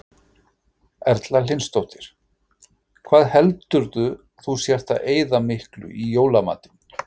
Erla Hlynsdóttir: Hvað heldurðu að þú sért að eyða miklu í jólamatinn?